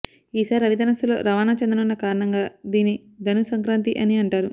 ఈ సారి రవి ధనస్సులో రవాణా చెందనున్న కారణంగా దీన్ని ధను సంక్రాంతి అని అంటారు